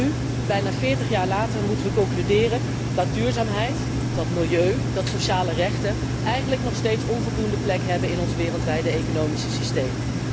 En nu, bijna 40 jaar later moeten wij concluderen dat duurzaamheid, dat milieu, dat sociale rechten eigenlijk nog steeds onvoldoende plek hebben in ons wereldwijde economische systeem.